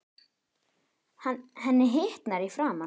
Henni hitnar í framan.